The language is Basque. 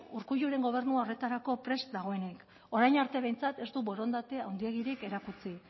urkulluren gobernua horretarako prest dagoenik orain arte behintzat ez du borondate handiegirik erakutsi